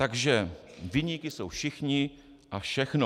Takže viníky jsou všichni a všechno.